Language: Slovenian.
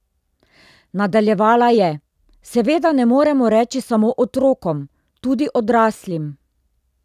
Nadaljevala je: "Seveda ne moremo reči samo otrokom, tudi odraslim.